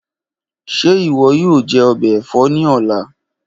Ṣe iwọ yoo jẹ ọbẹ ẹfọ ni ọla?